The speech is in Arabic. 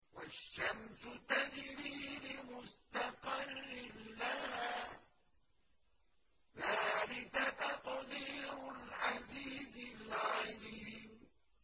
وَالشَّمْسُ تَجْرِي لِمُسْتَقَرٍّ لَّهَا ۚ ذَٰلِكَ تَقْدِيرُ الْعَزِيزِ الْعَلِيمِ